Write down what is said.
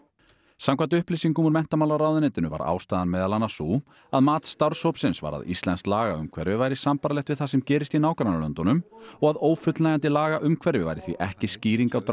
samkvæmt upplýsingum úr menntamálaráðuneytinu var ástæðan meðal annars sú að mat starfshópsins var að íslenskt lagaumhverfi væri sambærilegt við það sem gerist í nágrannalöndunum og að ófullnægjandi lagaumhverfi væri því ekki skýring á